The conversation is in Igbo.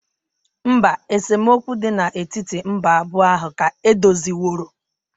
Mba, esemokwu dị n'etiti mba abụọ ahụ ka edoziworo.